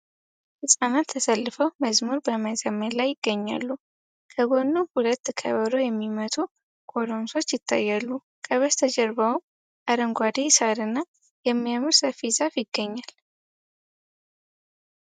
ህጻናት ተሰልፈው መዝሙር በመዘመር ላይ ይገኛሉ ።ከጎንም ሁለት ከበሮ የሚመቱ ጎረምሶች ይታያሉ ከጀርባቸውም አረንጓዴ ሳርና የሚያምር ሰፊ ዛፍ ይገኛል ።